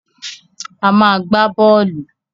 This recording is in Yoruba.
A má a gbá bọ́ọ́lù.